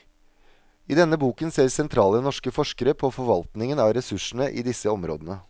I denne boken ser sentrale norske forskere på forvaltningen av ressursene i disse områdene.